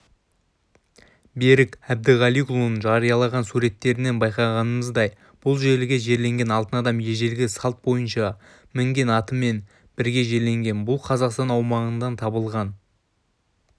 берік әбдіғалиұлының жариялаған суреттерінен байқағанымыздай бұл жерге жерленген алтын адам ежелгі салт бойынша мінген атымен бірге жерленген бұл қазақстан аумағынан табылған